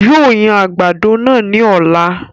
Yóò yan àgbàdo náà ní ọ̀la